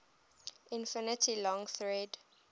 infinitely long thread